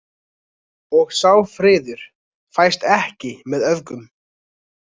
Og sá friður fæst ekki með öfgum.